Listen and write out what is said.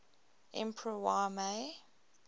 emperor y mei